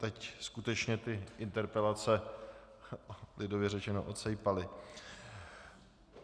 Teď skutečně ty interpelace lidově řečeno odsejpaly.